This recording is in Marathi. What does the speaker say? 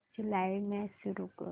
आजची लाइव्ह मॅच सुरू कर